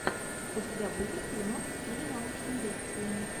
у тебя будет фильмок в стиле научной лекции